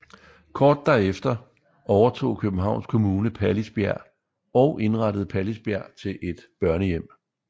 Kort derefter overtog Københavns Kommune Pallisbjerg og indrettede Pallisbjerg til et børnehjem